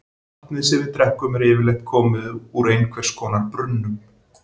Vatnið sem við drekkum er yfirleitt komið úr einhvers konar brunnum.